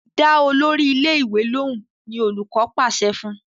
Dá Olórí ilé ìwé lohùn! ní olùkó pàṣẹ fún.